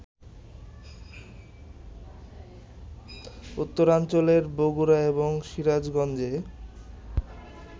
উত্তরাঞ্চলের বগুড়া এবং সিরাজগঞ্জে